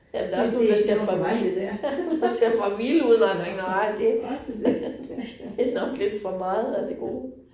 Ja, men der også nogle, der ser for vi, der ser for vilde ud, nej tænker, nej, det det nok lidt for meget af det gode